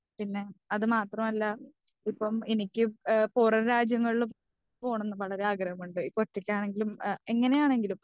പിന്നെ അത് മാത്രമല്ല ഇപ്പ എനിക്ക് പുറം രാജ്യങ്ങളിൽ പോകണമെന്ന് വളരെ ആഗ്രഹമുണ്ട്. ഇപ്പൊ ഒറ്റക്കാണെങ്കിലും എങ്ങനെ ആണെങ്കിലും.